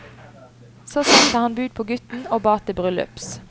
Så sendte han bud på gutten og ba til bryllups.